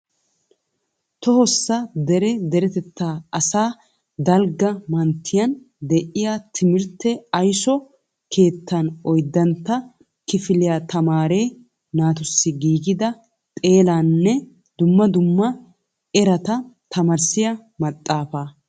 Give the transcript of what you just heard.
Tohossa dere deretetaa asaa dalgga manttiyan de'iya timirtte ayiso keettan oyddantta kifiliya tamaare naatussi giigida xeelaanne dumma dumma erata tamaarisiya maxaafaa.